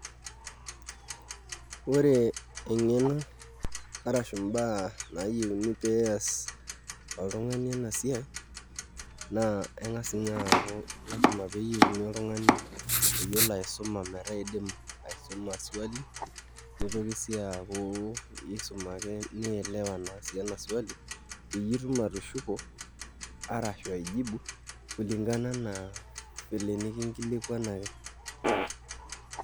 Ore eng'eno arashu mbaa niyieu pee ias oltung'ani ena siai naa eng'as aaku lasima pee inyiang'uni oltung'ani oyiolo aisuma metaa iidim aisuma swali nitoki sii aaku iisum ake nielewa naa sii ena swali peyie itum atushuko arashu aijibu kulingana enaa enikinkilikuanaki.